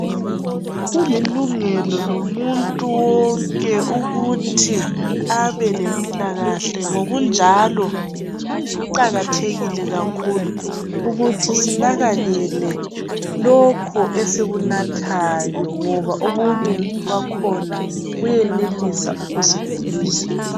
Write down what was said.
Kulilungelo lomuntu wonke ukuthi abe lempilakahle ngokunjalo luqakathekile kakhulu ukuthi sinakekele lokhu esikunathayo ngoba okunye kwakhona kuyenelisa ukusigulisa